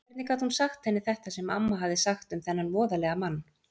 Hvernig gat hún sagt henni þetta sem amma hafði sagt um þennan voðalega mann?